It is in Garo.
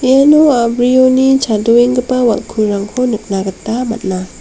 iano a·brioni chadoenggipa wal·kurangko nikna gita man·a.